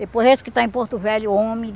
Depois esse que está em Porto Velho, homem.